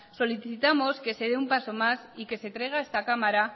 solicitamos que se dé un paseo y que se traiga a esta cámara